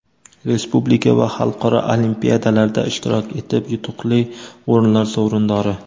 respublika va xalqaro olimpiadalarda ishtirok etib yutuqli o‘rinlar sovrindori.